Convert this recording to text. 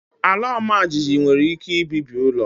Ala ọmajiji nwere ike ibibi ụlọ